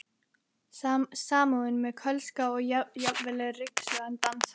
Samúðin með Kölska og jafnvel ryksugan dansar.